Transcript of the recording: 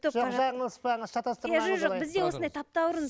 жаңылыспаңыз шатастырмаңыз жоқ бізде осындай таптаурын